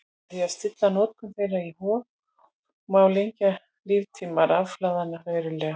Með því að stilla notkun þeirra í hóf má lengja líftíma rafhlaðanna verulega.